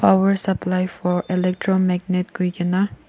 Power supply for electromagnet koikena--